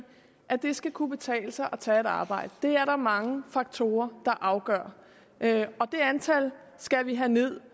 at det skal kunne betale sig at tage et arbejde og det er der mange faktorer der afgør og det antal skal vi have ned